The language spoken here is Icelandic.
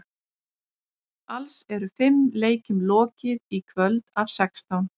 Alls eru fimm leikjum lokið í kvöld af sextán.